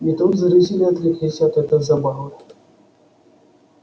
и тут зрители отвлеклись от этой забавы